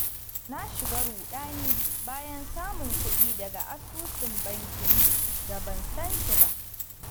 Na shiga ruɗani bayan samun kuɗi daga asusun bankin da ban san shi ba.